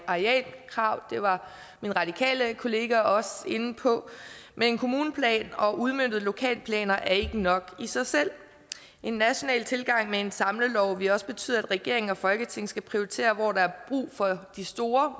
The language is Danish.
arealkrav det var min radikale kollega også inde på men kommuneplan og udmøntede lokalplaner er ikke nok i sig selv en national tilgang med en samlelov vil også betyde at regeringen og folketinget skal prioritere hvor der er brug for de store